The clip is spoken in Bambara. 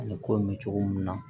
Ani ko nin cogo mun na